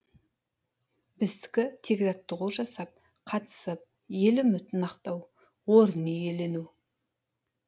біздікі тек жаттығу жасап қатысып ел үмітін ақтау орын иелену